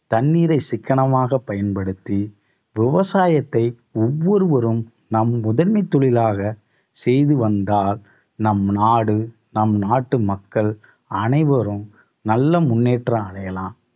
தண்ணீரை சிக்கனமாக பயன்படுத்தி விவசாயத்தை ஒவ்வொருவரும் நம் முதன்மை தொழிலாக செய்து வந்தால் நம் நாடு நம் நாட்டு மக்கள் அனைவரும் நல்ல முன்னேற்றம் அடையலாம்